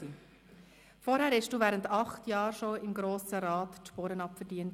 Zuvor hattest du während acht Jahren im Grossen Rat die Sporen abverdient.